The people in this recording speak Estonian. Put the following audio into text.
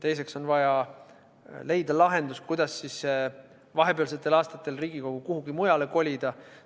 Teiseks on vaja leida lahendus, kuidas vahepealsetel aastatel Riigikogu kuhugi mujale kolida.